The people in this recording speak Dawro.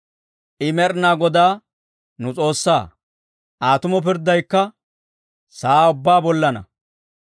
I Med'inaa Godaa nu S'oossaa; Aa tumo pirddaykka sa'aa ubbaa bollaanna.